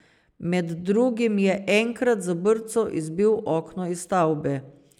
Med drugim je enkrat z brco izbil okno iz stavbe.